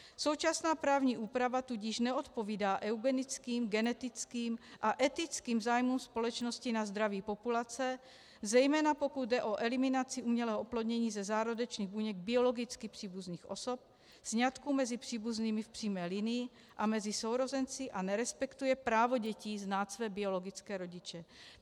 Současná právní úprava tudíž neodpovídá eugenickým, genetickým a etickým zájmům společnosti na zdraví populace, zejména pokud jde o eliminaci umělého oplodnění ze zárodečných buněk biologicky příbuzných osob, sňatků mezi příbuznými v přímé linii a mezi sourozenci a nerespektuje právo dětí znát své biologické rodiče.